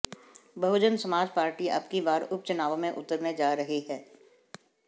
बहुजन Samaj Party अबकी बार उपचुनाव में उतरने जा रही है